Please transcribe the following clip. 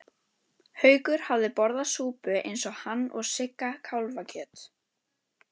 Haukur hafði borðað súpu eins og hann og Sigga kálfakjöt.